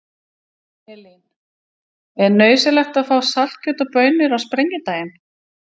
Elín: Er nauðsynlegt að fá saltkjöt og baunir á Sprengidaginn?